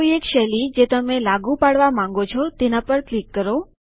કોઈ એક શૈલી જે તમે લાગુ પાડવા માંગો છો તેના પર ક્લિક કરો